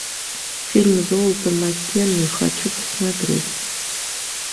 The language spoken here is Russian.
фильм золото маккены хочу посмотреть